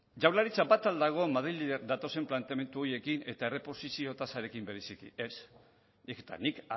jaurlaritza bat al dagon madriletik datozen planteamendu horiekin eta erreposizio tasarekin bereziki ez eta nik